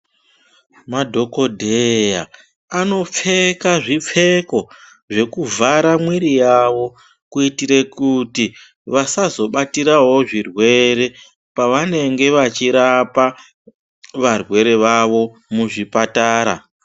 Madhokodheya anopfeka zvipfeko zvekuvhara mwiri yawo, kuyitire kuti vasazobatirawo zvirwere pavanenge vachirapa varwere vavo muzvipatara.